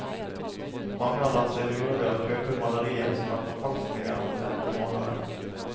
Mange har latt seg lure ved å kjøpe malerier som er forfalskninger av kjente malere.